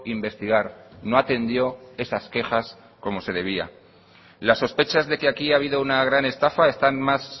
investigar no atendió esas quejas como se debía las sospechas de que aquí ha habido una gran estafa están más